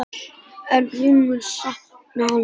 En hún mun sakna hans.